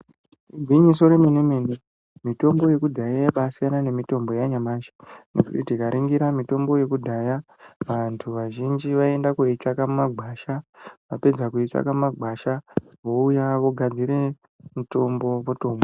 Igwinyiso remenemene mitombo yekudhaya yaiba yasiyana neyanyamashi nekuti tikaningira mitombo yekudhaya vantu vazhinji vaienda koitsvaka mumakwasha vapedza kutsvaka mumagwasha vouya vogadzire mitombo votomwa.